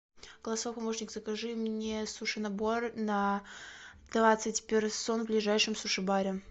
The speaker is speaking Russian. голосовой помощник закажи мне суши набор на двадцать персон в ближайшем суши баре